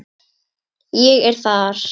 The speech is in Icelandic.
Ég er þar.